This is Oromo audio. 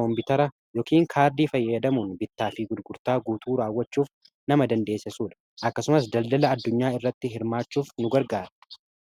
koompitara yookiin kaardii fayyadamuun bittaa fi gudgurtaa guutuu raawwachuuf kan nama dandeessisuudha. akkasumas daldala addunyaa irratti hirmaachuuf nu gargara.